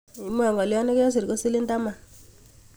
Imwa ngolyot nekesir ko silink taman.